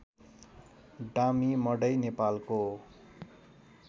डाम्ही मडै नेपालको